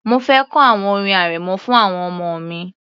Mo fẹ kọ àwọn orin arẹmọ fún àwọn ọmọ mi